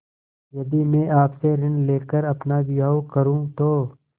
यदि मैं आपसे ऋण ले कर अपना विवाह करुँ तो